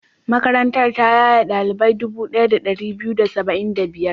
Makarantar ta yaye ɗalibai dubu ɗaya da ɗari biyu da da saba'in da biyar.